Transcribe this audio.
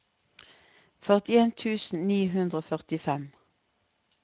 førtien tusen ni hundre og førtifem